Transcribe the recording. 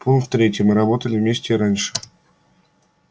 пункт третий мы работали вместе и раньше